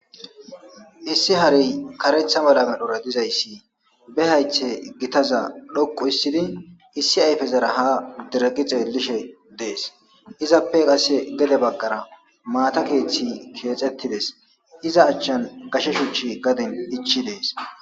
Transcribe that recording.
issi harey karetha mala medhora dizayssi be haythe gitaza dhoqu issidi issi ayfezara ha diraggi xeellishe dees izappe qasse gede baggara maata keeththi keexettides iza achchan gashe shuchi gadin ichi dees